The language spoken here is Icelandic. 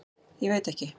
Ég veit ekki.